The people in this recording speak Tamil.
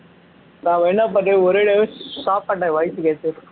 நான் என்ன பண்றேன் ஒரேதடியாவே சாப்பாட்டு time